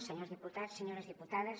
senyors diputats senyores diputades